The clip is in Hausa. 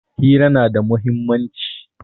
Hira na da muhimmanci.